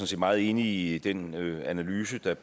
set meget enig i den analyse